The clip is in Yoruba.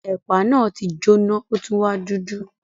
Ẹ̀pà náà ti jóná o tun wa dudu.